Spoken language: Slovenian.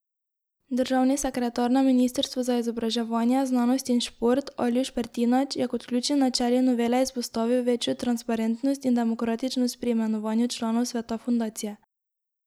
Državni sekretar na ministrstvu za izobraževanje, znanost in šport Aljuš Pertinač je kot ključni načeli novele izpostavil večjo transparentnost in demokratičnost pri imenovanju članov sveta fundacije.